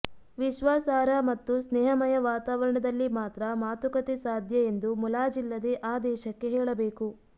ವಿಶ್ವಾಸಾರ್ಹ ಮತ್ತು ಸ್ನೇಹಮಯ ವಾತಾವರಣದಲ್ಲಿ ಮಾತ್ರ ಮಾತುಕತೆ ಸಾಧ್ಯ ಎಂದು ಮುಲಾಜಿಲ್ಲದೆ ಆ ದೇಶಕ್ಕೆ ಹೇಳಬೇಕು